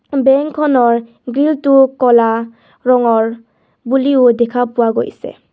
Bank খনৰ grill টোও ক'লা ৰঙৰ বুলিও দেখা পোৱা গৈছে.